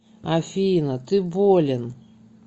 афина ты болен